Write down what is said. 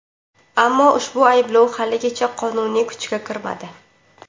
Ammo ushbu ayblov haligacha qonuniy kuchga kirmadi.